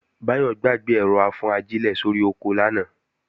Báyọ̀ gbàgbé ẹ̀rọ-afúnajílẹ̀ sórí oko lánàá